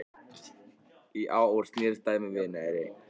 Í ár snerist dæmið við.